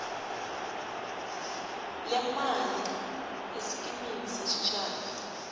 leemali esikimini sesitjhaba